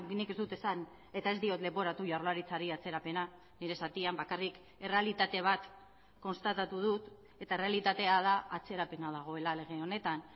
nik ez dut esan eta ez diot leporatu jaurlaritzari atzerapena nire zatian bakarrik errealitate bat konstatatu dut eta errealitatea da atzerapena dagoela lege honetan